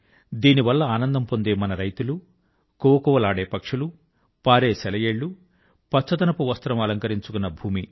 దీనివల్ల ఆనందం పొందే మన రైతులు కువకువలాడే పక్షులు పారే సెలయేళ్ళు పచ్చదనపు వస్త్రం అలంకరించుకున్న భూమి